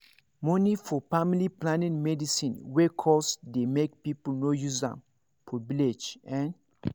money for family planning medicine wey cost dey make people no use am for village ehn